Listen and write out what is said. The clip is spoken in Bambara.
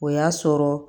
O y'a sɔrɔ